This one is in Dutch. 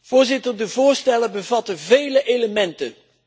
Voorzitter, de voorstellen bevatten vele elementen.